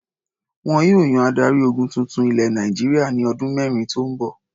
Wọn yóò yan adarí-ogun tuntun ilẹ̀ Nàìjíríà ní ọdún mẹ́rin tó ń bọ̀.